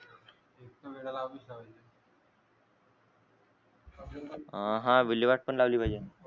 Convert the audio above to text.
अ हा विल्हेवाट पण लावली पाहिजे